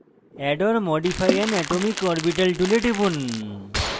add or modify an atomic orbital tool টিপুন